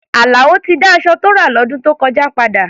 Àlàó ti dá aṣọ tó rà lọ́dún tó kọjá padà.